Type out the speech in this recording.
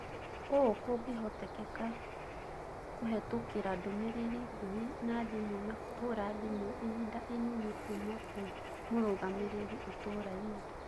ũũ kũngĩhotekeka kũhetũkĩra ndũmĩrĩri ngũhĩ na thimũ na kũhũra thimo ihinda inini kuuma kwĩ mũrũgamĩrĩri itũrainĩ.